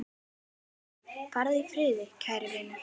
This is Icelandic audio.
Farðu í friði, kæri vinur.